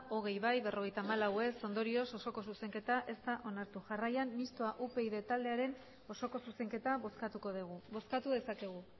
hogei ez berrogeita hamalau ondorioz osoko zuzenketa ez da onartu jarrian mistoa upyd taldearen osoko zuzenketa bozkatuko degu bozkatu dezakegu